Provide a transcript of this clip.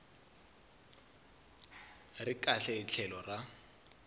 ri kahle hi tlhelo ra